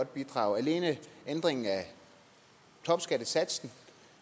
bidrag alene ændringen af topskattegrænsen